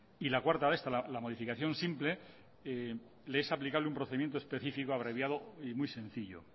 y la cuarta de esta la modificación simple le es aplicable un procedimiento específico abreviado y muy sencillo